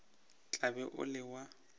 tla be o le wa